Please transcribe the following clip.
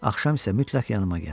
Axşam isə mütləq yanıma gəl.